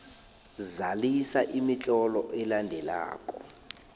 zalisa imitlolo elandelako